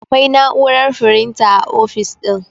Akwai na'urar firinta a ofis ɗin